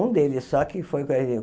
Um deles só que foi